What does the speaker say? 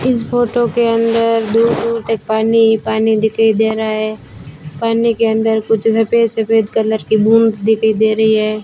इस फोटो के अंदर दूर-दूर तक पानी ही पानी दिखाई दे रहा है। पानी के अंदर कुछ सफेद-सफेद कलर की बूंद दिखाई दे रही है।